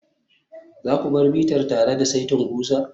za ku bar bitar tare da saitin ƙusa?